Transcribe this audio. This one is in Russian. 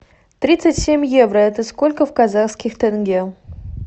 тридцать семь евро это сколько в казахских тенге